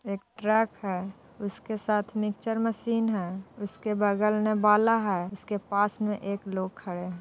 एक ट्रक है उसके साथ मिक्चर मसीन है उसके बगल मे बाला है उसके पास मे एक लोग खड़े हैं ।